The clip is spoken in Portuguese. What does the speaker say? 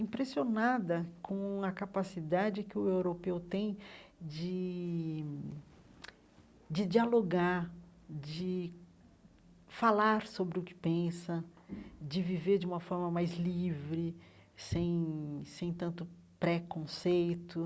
impressionada com a capacidade que o europeu tem de de dialogar, de falar sobre o que pensa, de viver de uma forma mais livre, sem sem tanto preconceito.